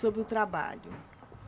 Sobre o trabalho.